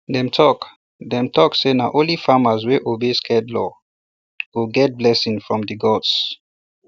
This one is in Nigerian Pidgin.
dem talk dem talk say na only farmers wey obey sacred law go get blessing from the gods